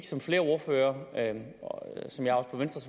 som flere ordførere